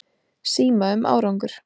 Síma um árangur.